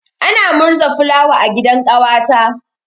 Ana murza fulawa a gidan ƙawata.